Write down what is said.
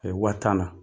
A ye wa tan na